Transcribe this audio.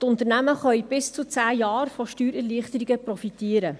Die Unternehmen können von Steuererleichterungen von bis zu 10 Jahren profitieren.